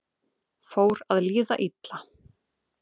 Fór að líða illa